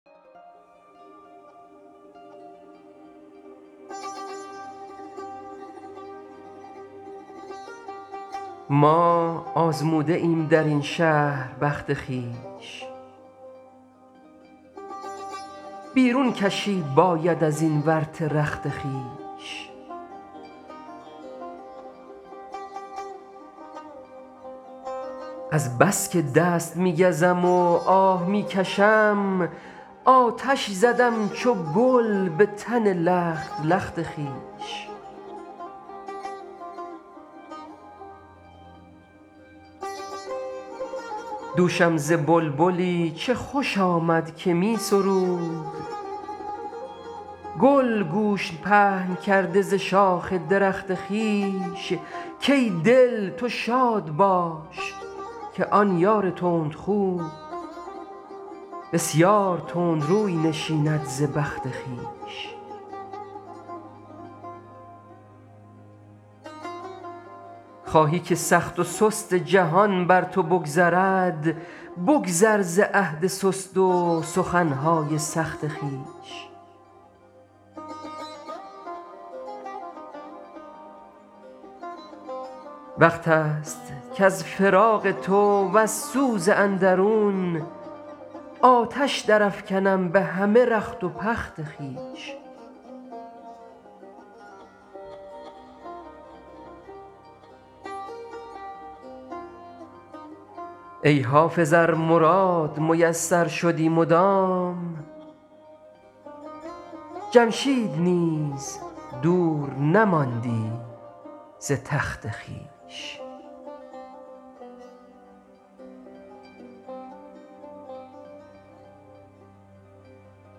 ما آزموده ایم در این شهر بخت خویش بیرون کشید باید از این ورطه رخت خویش از بس که دست می گزم و آه می کشم آتش زدم چو گل به تن لخت لخت خویش دوشم ز بلبلی چه خوش آمد که می سرود گل گوش پهن کرده ز شاخ درخت خویش کای دل تو شاد باش که آن یار تندخو بسیار تند روی نشیند ز بخت خویش خواهی که سخت و سست جهان بر تو بگذرد بگذر ز عهد سست و سخن های سخت خویش وقت است کز فراق تو وز سوز اندرون آتش درافکنم به همه رخت و پخت خویش ای حافظ ار مراد میسر شدی مدام جمشید نیز دور نماندی ز تخت خویش